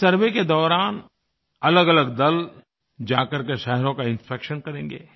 इस सर्वे के दौरान अलगअलग दल जा करके शहरों का इंस्पेक्शन करेंगे